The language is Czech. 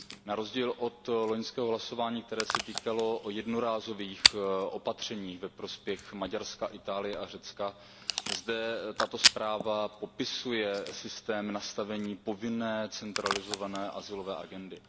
Na rozdíl od loňského hlasování, které se týkalo jednorázových opatření ve prospěch Maďarska, Itálie a Řecka, zde tato zpráva popisuje systém nastavení povinné centralizované azylové agendy.